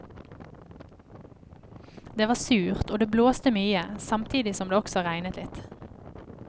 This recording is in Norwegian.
Det var surt og det blåste mye samtidig som det også regnet litt.